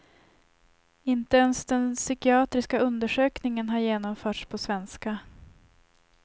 Inte ens den psykiatriska undersökningen har genomförts på svenska.